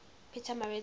pietermaritzburg